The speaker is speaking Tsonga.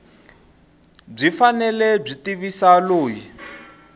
byi fanele byi tivisa loyi